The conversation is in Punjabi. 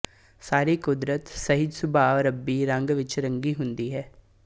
ਸਾਰੀ ਕੁਦਰਤ ਸਹਿਜ ਸੁਭਾਅ ਰੱਬੀ ਰੰਗ ਵਿੱਚ ਰੰਗੀ ਹੁੰਦੀ ਹੈ